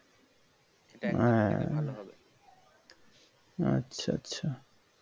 এ এ আছা আছা